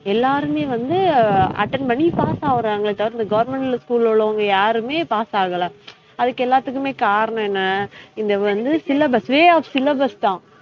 எல்லாருமே வந்து attend பண்ணி pass ஆகுறாங்களே தவிர இந்த government ல school ல உள்ளவுங்க யாருமே pass ஆகல அதுக்கு எல்லாத்துக்குமே காரணம் என்ன இந்த வந்து syllabus, way of syllabus தான்